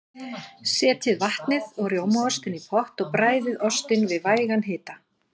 Setjið vatnið og rjómaostinn í pott og bræðið ostinn við vægan hita.